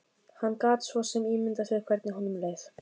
Hann gat svo sem ímyndað sér hvernig honum leið.